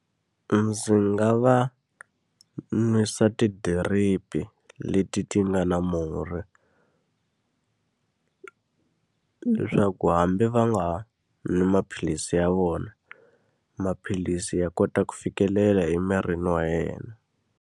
Ndzi nga va nwisa tidiripi e leti ti nga na murhi. Leswaku hambi va nga nwi maphilisi ya vona, maphilisi ya kota ku fikelela emirini wa yena.